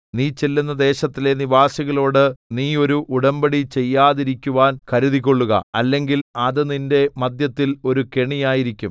നീ ചെല്ലുന്ന ദേശത്തിലെ നിവാസികളോട് നീ ഒരു ഉടമ്പടി ചെയ്യാതിരിക്കുവാൻ കരുതിക്കൊള്ളുക അല്ലെങ്കിൽ അത് നിന്റെ മദ്ധ്യത്തിൽ ഒരു കെണിയായിരിക്കും